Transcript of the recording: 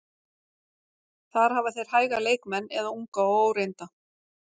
Þar hafa þeir hæga leikmenn eða unga og óreynda.